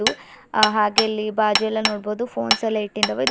ಹ ಹಾಗೆ ಇಲ್ಲಿ ಬಾಜು ಎಲ್ಲ ನೋಡಬಹುದು ಫೋನ್ಸ್ ಎಲ್ಲಾ ಸಲ ಇಟ್ಟಿದವಾ ಇದು --